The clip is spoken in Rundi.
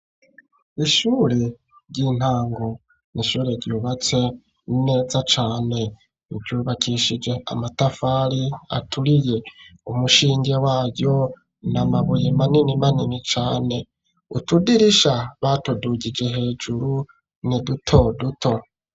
Ishuri ry'intango. Ni ishure ryubatse neza cane. Ryubakishije amatafari aturiye. Umushinge waryo ni amabuye manini manini cane. Utudirisha batudugije hejuru, ni duto duto.